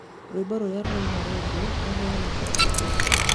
Rwĩmbo rũrĩa rũinaga redio rũheanagwo nĩ ũ?